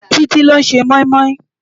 Titi ló n sé moimoi